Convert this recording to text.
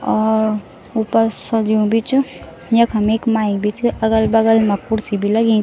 और ऊपर सज्युं भी च यखम एक माइक भी च अगल-बगल मा कुर्सी भी लगीं।